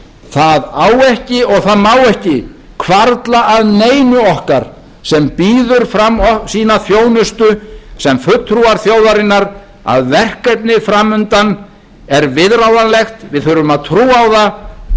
það á ekki og það má ekki hvarfla að neinu okkar sem býður fram sína þjónustu sem fulltrúar þjóðarinnar að verkefnið fram undan er viðráðanlegt við þurfum að trúa á það